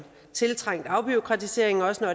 tiltrængt afbureaukratisering også når